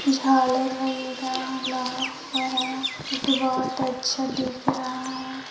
झालर वगैरह लगा हुआ है जो की बहोत अच्छा दिख रहा है।